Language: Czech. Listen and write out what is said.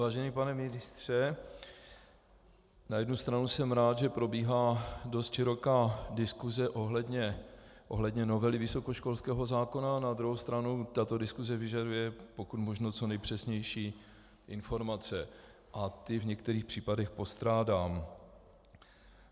Vážený pane ministře, na jednu stranu jsem rád, že probíhá dost široká diskuse ohledně novely vysokoškolského zákona, na druhou stranu tato diskuse vyžaduje pokud možno co nejpřesnější informace a ty v některých případech postrádám.